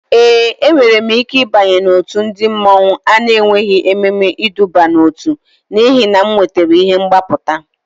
Ee, enwere m ike ịbanye n'òtù ndị mmọnwu a na-enweghị ememe ịdọba n'ótú n'ihi na m wetara ihe mgbapụta